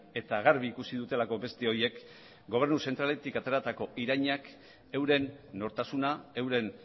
eta garbi ikusi dutelako beste horiek gobernu zentraletik ateratako irainak euren nortasuna euren